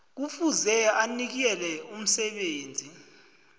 kufuze anikele umsebenzi